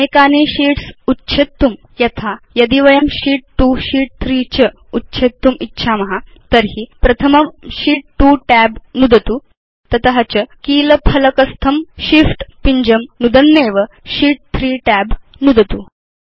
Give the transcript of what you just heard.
अनेकानि शीट्स् उच्छेत्तुं यथा यदि वयं शीत् 2 शीत् 3 च उच्छेत्तुम् इच्छाम तर्हि प्रथमं शीत् 2 tab नुदतु तत च कीलफ़लकस्थं Shift पिञ्जं नुदन्नेव शीत् 3 tab नुदतु